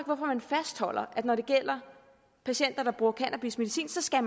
hvorfor man fastholder at når det gælder patienter der bruger cannabis medicinsk skal